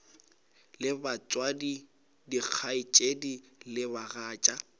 le batswadi dikgaetšedi le bagatša